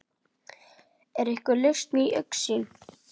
Er einhver lausn í augsýn?